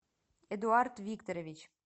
эдуард викторович